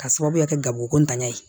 K'a sababuya kɛ gabrikotanya ye